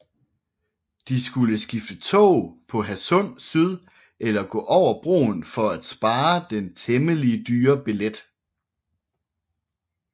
De skulle skifte tog på Hadsund Syd eller gå over broen for at spare den temmelig dyre billet